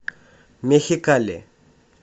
мехикали